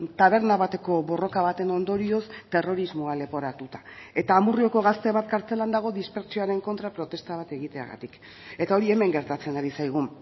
taberna bateko borroka baten ondorioz terrorismoa leporatuta eta amurrioko gazte bat kartzelan dago dispertsioaren kontra protesta bat egiteagatik eta hori hemen gertatzen ari zaigu